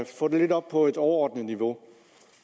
få det lidt op på et overordnet niveau